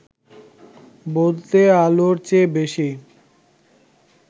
বলতে আলোর চেয়ে বেশি